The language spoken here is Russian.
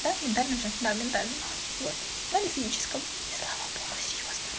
да мне нужен моментально вот на физическом и стала и славо богу серьёзно